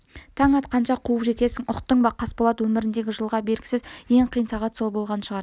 таң атқанша қуып жетесің ұқтың ба қасболат өміріндегі жылға бергісіз ең қиын сағат сол болған шығар